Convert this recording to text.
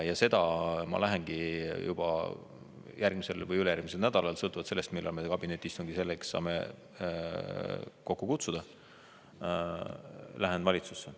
Ja seda ma lähengi juba järgmisel või ülejärgmisel nädalal, sõltuvalt sellest, millal me kabinetiistungi selleks saame kokku kutsuda, valitsusse.